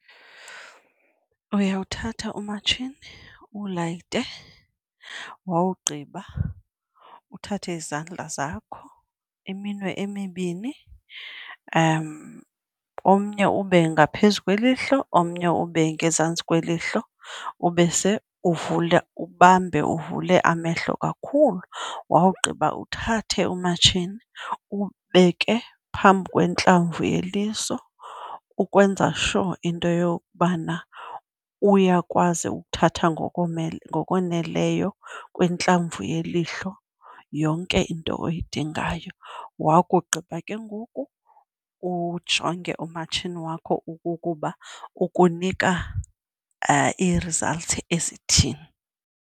Uyawuthatha umatshini uwulayite. Wawugqiba uthathe izandla zakho, iminwe emibini, omnye ube ngaphezu kwelihlo omnye ube ngezantsi kwelihlo ubese uvule, ubambe uvule amehlo kakhulu. Wawugqiba uthathe umatshini uwubeke phambi kwintlamvu yeliso ukwenza sure into yokubana uyakwazi ukuthatha ngokoneleyo kwintlamvu yelihlo yonke into oyidingayo. Wakugqiba ke ngoku ujonge umatshini wakho ukukuba ukunika ii-results ezithini.